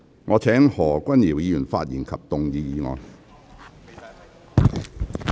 我請何君堯議員發言及動議議案。